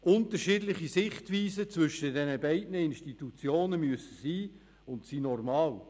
Unterschiedliche Sichtweisen zwischen diesen beiden Institutionen müssen sein und sind normal.